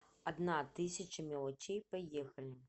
одна тысяча мелочей поехали